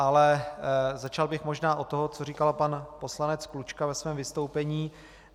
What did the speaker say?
Ale začal bych možná od toho, co začal pan poslanec Klučka ve svém vystoupení.